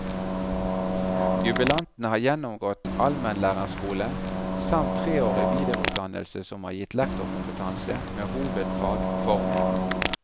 Jubilanten har gjennomgått almenlærerskole, samt treårig videreutdannelse som har gitt lektorkompetanse, med hovedfag forming.